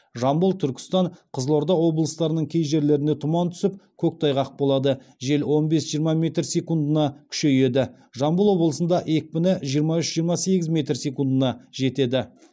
жамбыл түркістан қызылорда облыстарының кей жерлеріне тұман түсіп коктайғақ болады жел он бес жиырма метр секундына күшейеді жамбыл облысында екпіні жиырма үш жиырма сегіз метр секундына жетеді